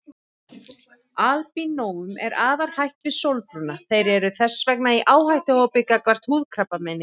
Albínóum er afar hætt við sólbruna og þeir eru þess vegna í áhættuhóp gagnvart húðkrabbameini.